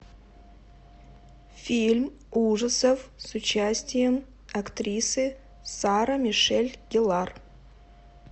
фильм ужасов с участием актрисы сара мишель геллар